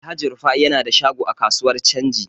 Alhaji Rufa'i yana da shago a kasuwar canji.